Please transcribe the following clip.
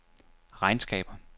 regnskaber